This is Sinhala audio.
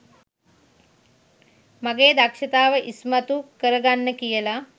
මගේ දක්ෂතාව ඉස්මතු කරගන්න කියලා.